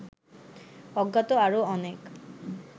অজ্ঞাত আরো অনেক